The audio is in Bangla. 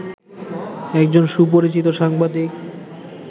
একজন সুপরিচিত সাংবাদিক